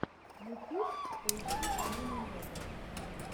ютюб поищи амину новую